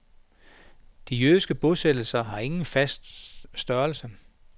De jødiske bosættelser har ingen fast størrelse.